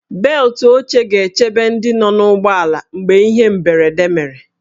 Beltụ oche ga-echebe ndị nọ n'ụgbọala mgbe ihe mberede mere